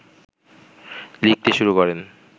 লিখতে শুরু করেন